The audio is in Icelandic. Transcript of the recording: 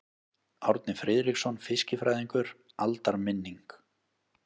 Árni Friðriksson fiskifræðingur: Aldarminning.